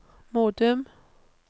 Modum